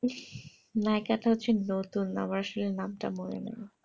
নায়েক তা হচ্ছে নতুন আমার আসলে নাম টা মনে নাই